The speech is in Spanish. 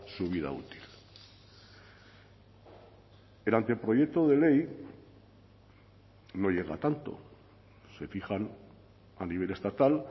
su vida útil el anteproyecto de ley no llega a tanto se fijan a nivel estatal